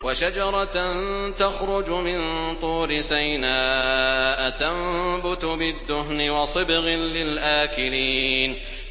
وَشَجَرَةً تَخْرُجُ مِن طُورِ سَيْنَاءَ تَنبُتُ بِالدُّهْنِ وَصِبْغٍ لِّلْآكِلِينَ